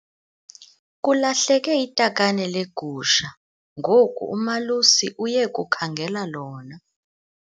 Kulahleke itakane legusha ngoku umalusi uye kukhangela lona.